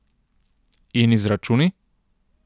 In izračuni?